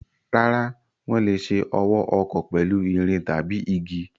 Rárá, wọ́n lè ṣe ọwọ́ ọkọ́ pẹ̀lú irin tàbí igi.